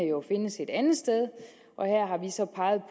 jo findes et andet sted og her har vi så peget